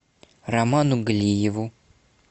роману галиеву